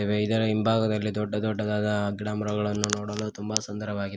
ಇವೆ ಇದರ ಹಿಂಭಾಗದಲ್ಲಿ ದೊಡ್ಡ ದೊಡ್ಡದಾದ ಗಿಡ ಮರಗಳನ್ನು ನೋಡಲು ತುಂಬಾ ಸುಂದರವಾಗಿದೆ.